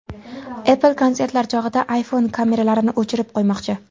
Apple konsertlar chog‘ida iPhone kameralarini o‘chirib qo‘ymoqchi.